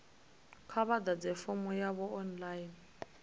kha vha ḓadze fomo yavho online